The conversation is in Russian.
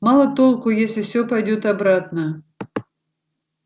мало толку если все пойдёт обратно